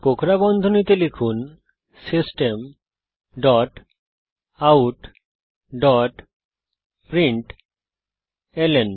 কোঁকড়া বন্ধনীতে লিখুন system dot out dot println